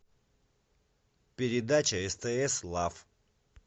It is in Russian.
передача стс лав